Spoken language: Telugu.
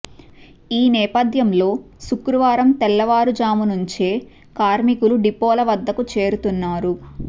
ఈ నేపథ్యంలో శుక్రవారం తెల్లవారుజాము నుంచే కార్మికులు డిపోల వద్దకు చేరుతున్నారు